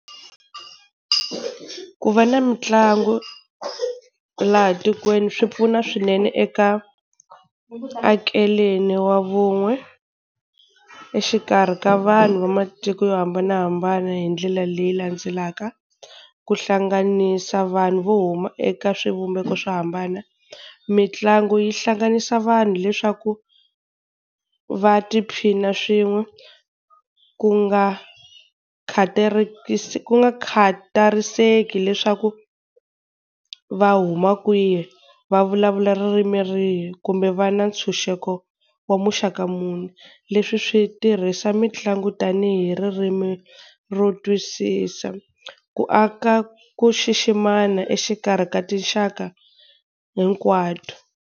Ku va na mitlangu laha tikweni swi pfuna swinene eka akeleni wa vun'we exikarhi ka vanhu va matiko yo hambanahambana hi ndlela leyi landzelaka, ku hlanganisa vanhu vo huma eka swivumbeko swo hambana. Mitlangu yi hlanganisa vanhu leswaku va tiphina swin'we ku nga ku nga khatariseki leswaku va huma kwihi, va vulavula ririmi rihi, kumbe va na ntshunxeko wa muxaka muni. Leswi swi tirhisa mitlangu tanihi ririmi ro twisisa, ku aka ku xiximana exikarhi ka tinxaka hinkwato.